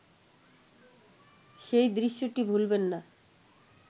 সেই দৃশ্যটি ভুলবেন না